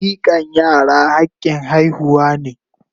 Mikan yara hakin haihuwa ne.